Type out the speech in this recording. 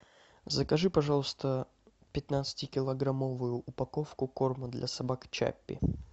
закажи пожалуйста пятнадцатикилограммовую упаковку корма для собак чаппи